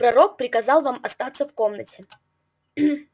пророк приказал вам оставаться в комнате